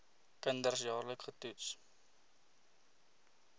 kinders jaarliks getoets